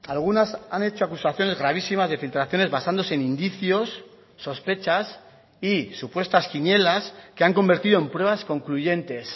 algunas han hecho acusaciones gravísimas de filtraciones basándose en indicios sospechas y supuestas quinielas que han convertido en pruebas concluyentes